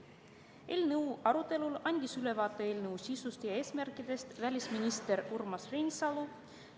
Eelnõu arutelul andis ülevaate eelnõu sisust ja eesmärkidest välisminister Urmas Reinsalu.